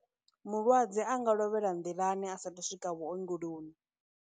Mulwadze a nga lovhela nḓilani a sa thu swika vhuongoloni.